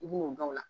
I b'o dɔn o la